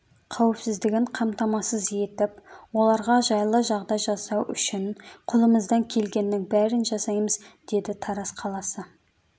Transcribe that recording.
қауіпсіздігін қамтамасыз етіп оларға жайлы жағдай жасау үшін қолымыздан келгеннің бәрін жасаймыз деді тараз қаласы